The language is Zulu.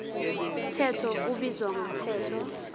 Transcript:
mthetho ubizwa ngomthetho